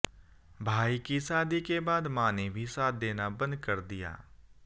भाई की शादी के बाद मां ने भी साथ देना बंद कर दिया